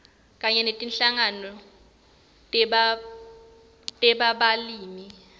kanye netinhlangano tebalimi